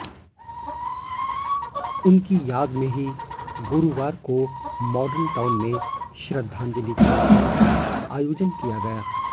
उनकी याद में ही गुरुवार को माॅडल टाउन में श्रद्धांजलि कार्यक्रम का आयोजन किया गया